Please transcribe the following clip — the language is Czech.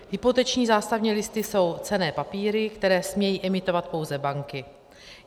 Hypoteční zástavní listy jsou cenné papíry, které smějí emitovat pouze banky.